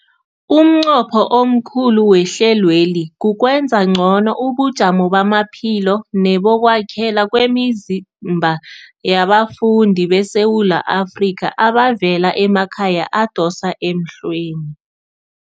Umnqopho omkhulu wehlelweli kukwenza ngcono ubujamo bamaphilo nebokwakhela kwemizimba yabafundi beSewula Afrika abavela emakhaya adosa emhlweni.